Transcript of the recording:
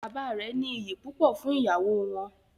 Bàbá rẹ ní ìyí púpọ fún ìyàwó wọn.